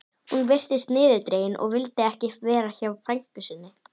Hún virtist niðurdregin og vildi ekki vera hjá frænku sinni.